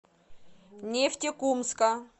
нефтекумска